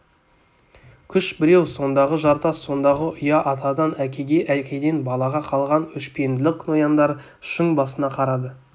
күш біреу сондағы жартас сондағы ұя атадан әкеге әкеден балаға қалған өшпенділік нояндар шың басына қарады